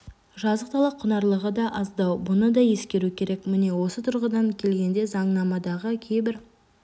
жазық дала құнарлылығы да аздау бұны да ескеру керек міне осы тұрғыдан келгенде заңнамадағы кейбір